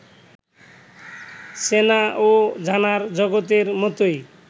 চেনা ও জানার জগতের মতোই